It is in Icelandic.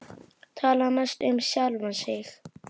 Tala mest um sjálfan sig.